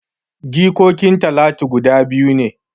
Jikokin talatu guda biyu ne